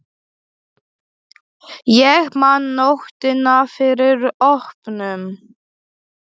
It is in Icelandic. Ég man nóttina fyrir opnun.